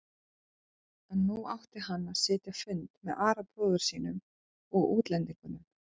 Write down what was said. En nú átti hann að sitja fund með Ara bróður sínum og útlendingunum.